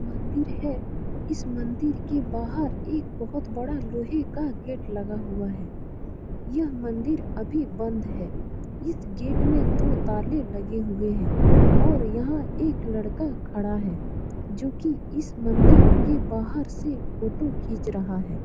मंदिर है इस मंदिर के बाहर एक बहुत बड़ा लोहे का गेट लगा हुआ है यह मंदिर अभी बंद है इस गेट में दो ताले लगे हुए है और यहाँ एक लड़का खड़ा है जो की इस मंदिर के बाहर से फोटो खिंच रहा है।